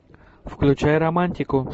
включай романтику